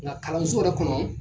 Nka kalanso yɛrɛ kɔnɔ